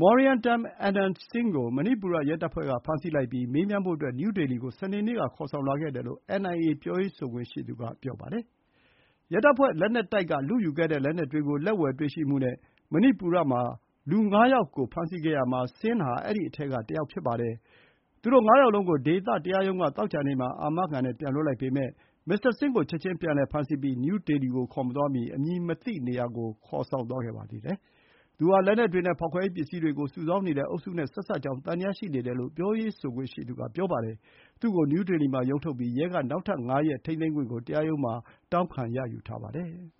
Moirangthem Anand Singh ကို မဏိပူရရဲတပ်ဖွဲ့က ဖမ်းဆီးလိုက်ပြီး မေးမြန်းဖို့အတွက် နယူးဒေလီ ကို စနေနေ့က ခေါ်ဆောင်လာခဲ့တယ်လို့ NIA ပြောရေးဆိုခွင့်ရှိသူ က ပြောပါတယ်။ ရဲတပ်ဖွဲ့လက်နက်တိုက်က လုယူခဲ့တဲ့ လက်နက်တွေကို လက်ဝယ်တွေ့ရှိမှုနဲ့ မဏိပူရမှာ လူငါးယောက်ကို ဖမ်းဆီးခဲ့ရာမှာ ဆင်းဟာ အဲဒီအထဲကတယောက်ဖြစ်ပါတယ်။ သူတို့ငါးယောက်လုံး ဒေသတရားရုံး သောကြာနေ့မှာ အာမခံ နဲ့ ပြန်လွှတ်လိုက်ပေမဲ့ မစ္စတာဆင်းကို ချက်ချင်း ပြန်လည်ဖမ်းဆီးပြီး နယူးဒေလီကိုခေါ်မသွားမီ အမည်မသိနေရာကို ခေါ်ဆောင်သွားခဲ့ပါတယ်။ သူဟာ လက်နက်တွေနဲ့ ဖောက်ခွဲရေးပစ္စည်းတွေကို စုဆောင်းနေတဲ့အုပ်စုနဲ့ ဆက်စပ်ကြောင်း သံသယရှိနေတယ်လို့ ပြောရေးဆိုခွင့်ရှိသူက ပြောပါတယ်။ သူ့ကို နယူးဒေလီမှာ ရုံးထုတ်ပြီး ရဲက နောက်ထပ် ၅ ရက် ထိန်းသိမ်းခွင့်ကို တရားရုံးမှာ တောင်းခံ ရယူထားပါတယ်။